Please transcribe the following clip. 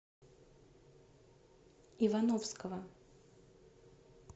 ивановского